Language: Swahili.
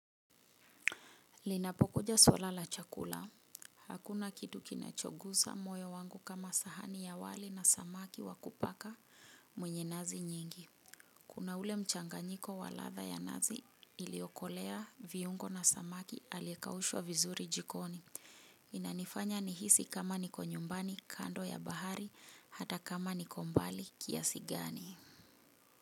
Linapokuja swala la chakula. Hakuna kitu kinachogusa moyo wangu kama sahani ya wali na samaki wa kupaka mwenye nazi nyingi. Kuna ule mchanganyiko wa ladha ya nazi iliyokolea viungo na samaki aliyekaushwa vizuri jikoni. Inanifanya nihisi kama niko nyumbani, kando ya bahari, hata kama niko mbali kiasi gani.